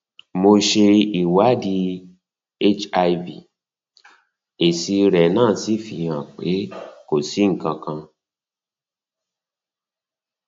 mo ṣe ìwádìí hiv èsì rẹ náà fi hàn pé kò si nkankan